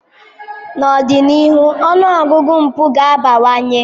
N'ọdịnihu, ọnụ ọgụgụ mpụ ga-abawanye.